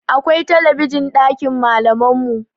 Akwai talabijin ɗakin malaman mu